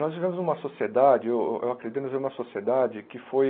Nós vivemos numa sociedade, eu eu acredito que nós vivemos numa sociedade que foi...